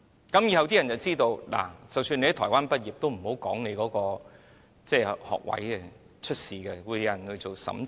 於是，以後大家便知道，即使在台灣畢業也不要說明，這會出事，因有人會進行審查。